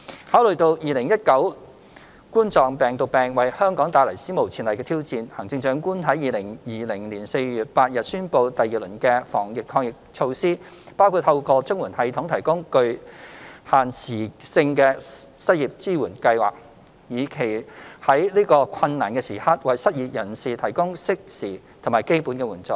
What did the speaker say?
考慮到2019冠狀病毒病為香港帶來史無前例的挑戰，行政長官在2020年4月8日宣布第二輪的防疫抗疫措施，包括透過綜援系統提供具限時性的失業支援計劃，以期在此困難時刻為失業人士提供適時和基本的援助。